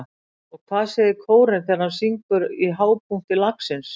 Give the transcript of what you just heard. Og hvað segir kórinn þegar hann syngur í hápunkti lagsins?